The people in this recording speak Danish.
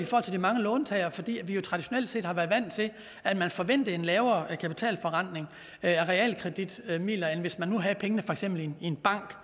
for de mange låntagere fordi vi traditionelt set har været vant til at man forventede en lavere kapitalforrentning af realkreditmidler end hvis man nu havde pengene i for eksempel en bank